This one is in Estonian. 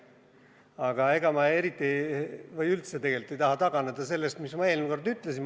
Aga ega ma tegelikult ei taha taganeda sellest, mis ma eelmine kord ütlesin.